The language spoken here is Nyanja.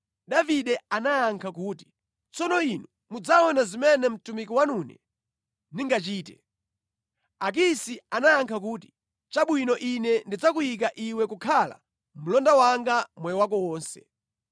Davide anayankha kuti, “Tsono inu mudzaona zimene mtumiki wanune ndingachite.” Akisi anayankha kuti, “Chabwino ine ndidzakuyika iwe kukhala mlonda wanga moyo wako wonse.”